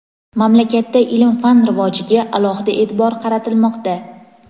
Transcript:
Mamlakatda ilm-fan rivojiga alohida e’tibor qaratilmoqda.